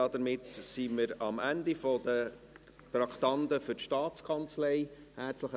Damit sind wir am Ende der Traktanden für die Staatskanzlei angelangt.